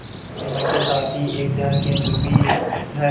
प्रतिमा के साथ ही एक ध्यान केंद्र भी है